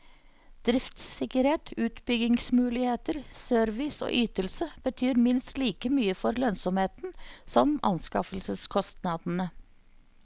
Driftssikkerhet, utbyggingsmuligheter, service og ytelse betyr minst like mye for lønnsomheten som anskaffelseskostnadene.